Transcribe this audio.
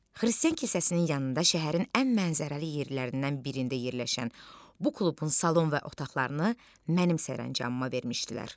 Xristian kilsəsinin yanında şəhərin ən mənzərəli yerlərindən birində yerləşən bu klubun salon və otaqlarını mənim sərəncamıma vermişdilər.